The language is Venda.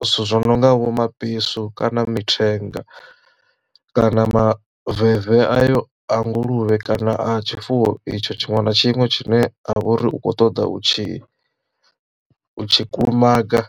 zwithu zwi no nga vho mabesu kana mithenga kana maveve ayo a nguluvhe kana a tshifuwo itsho tshiṅwe na tshiṅwe tshine a vha uri u kho ṱoḓa u tshi u tshi kulumaga.